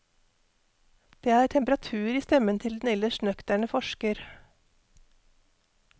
Det er temperatur i stemmen til den ellers nøkterne forsker.